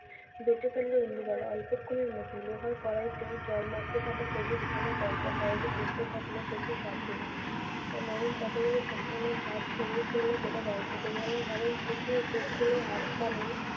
বেঁচে ফিরল ইন্দুবালা। অল্পক্ষণের মধ্যে লোহার কড়াইতে জল মাপতে থাকা সবুজ ঘন টগবগ কড়াইতে ফুটতে থাকলো কচি শাকগুলো। নরম পাতাগুলোর সম্পূর্ণ ঝরিয়ে ফেলে গোটা হাত-পা নেড়ে